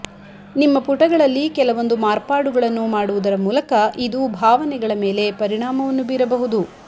ನಿಮ್ಮ ಪುಟಗಳಲ್ಲಿ ಕೆಲವೊಂದು ಮಾರ್ಪಾಡುಗಳನ್ನು ಮಾಡುವುದರ ಮೂಲಕ ಇದು ಭಾವನೆಗಳ ಮೇಲೆ ಪರಿಣಾಮವನ್ನು ಬೀರಬಹುದು